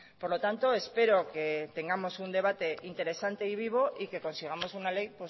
por lo tanto espero que tengamos un debate interesante y vivo y que consigamos una ley